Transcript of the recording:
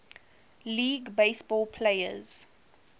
league baseball players